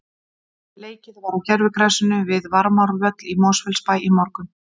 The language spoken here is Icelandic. Leikið var á gervigrasinu við Varmárvöll í Mosfellsbæ í morgun.